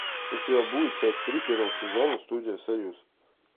у тебя будет часть три первого сезона студия союз